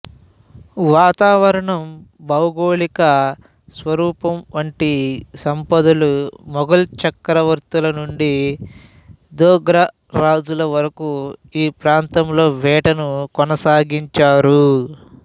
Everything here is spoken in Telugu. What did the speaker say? వాతావరణం భౌగోళిక స్వరూపంవంటి సంపదలు మొగల్ చక్రవర్తుల నుండి దోగ్రా రాజుల వరకు ఈ ప్రాతంలో వేటను కొనసాగించారు